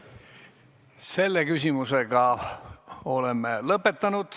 Selle küsimusega oleme lõpetanud.